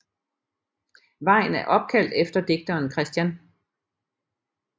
Vejen er opkaldt efter digteren Chr